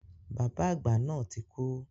Bàbá àgbà náà ti kú.